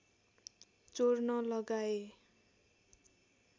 चोर्न लगाए